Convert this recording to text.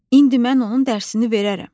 İndi mən onun dərsini verərəm.